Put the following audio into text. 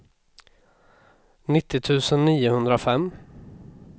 nittio tusen niohundrafem